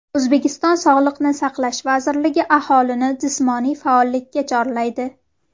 O‘zbekiston Sog‘liqni saqlash vazirligi aholini jismoniy faollik chorlaydi.